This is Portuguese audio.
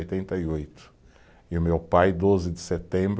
oitenta e oito, e o meu pai doze de setembro